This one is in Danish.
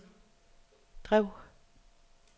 drev